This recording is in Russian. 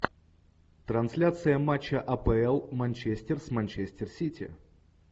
трансляция матча апл манчестер с манчестер сити